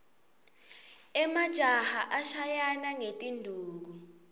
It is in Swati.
emajaha ashayana ngetinduku